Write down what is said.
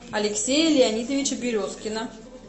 алексея леонидовича березкина